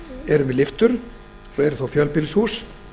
eru með lyftum en eru þó fjölbýlishús